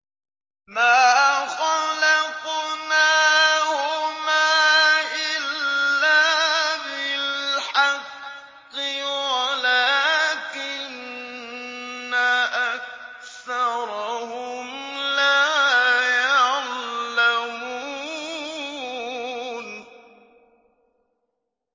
مَا خَلَقْنَاهُمَا إِلَّا بِالْحَقِّ وَلَٰكِنَّ أَكْثَرَهُمْ لَا يَعْلَمُونَ